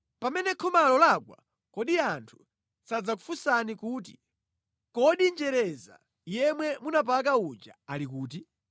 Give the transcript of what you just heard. Pamene khomalo lagwa, kodi anthu sadzakufunsani kuti, ‘Kodi njereza yemwe munapaka uja ali kuti?’